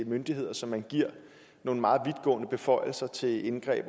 myndigheder som man giver nogle meget vidtgående beføjelser til indsigt